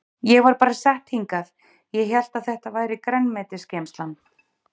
Ég var bara sett hingað ég hélt að þetta væri grænmetisgeymslan.